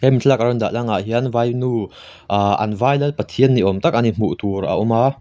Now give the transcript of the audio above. hemi thlalak an rawn dah langah hian vainu ahhh an vai lal pathian ni awm tak a ni hmuh tur a awm a.